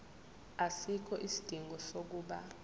asikho isidingo sokuba